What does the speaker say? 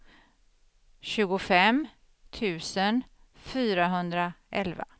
tjugofem tusen fyrahundraelva